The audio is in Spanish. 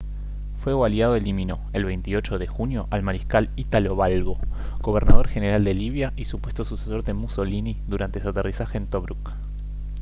fuego aliado eliminó el 28 de junio al mariscal italo balbo gobernador general de libia y supuesto sucesor de mussolini durante su aterrizaje en tobruk